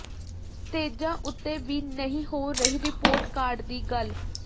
ਸਟੇਜਾਂ ਉੱਤੇ ਵੀ ਨਹੀਂ ਹੋ ਰਹੀ ਰਿਪੋਰਟ ਕਾਰਡ ਦੀ ਗੱਲ